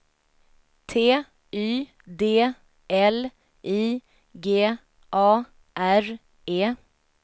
T Y D L I G A R E